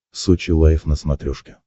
сочи лайв на смотрешке